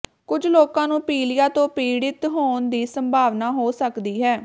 ਕੁਝ ਲੋਕਾਂ ਨੂੰ ਪੀਲੀਆ ਤੋਂ ਪੀੜਿਤ ਹੋਣ ਦੀ ਸੰਭਾਵਨਾ ਹੋ ਸਕਦੀ ਹੈ